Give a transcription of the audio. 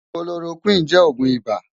Kólórókwin jè ógún ibá